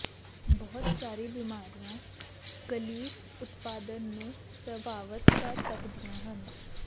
ਬਹੁਤ ਸਾਰੀਆਂ ਬੀਮਾਰੀਆਂ ਕਲੀਫ ਉਤਪਾਦਨ ਨੂੰ ਪ੍ਰਭਾਵਤ ਕਰ ਸਕਦੀਆਂ ਹਨ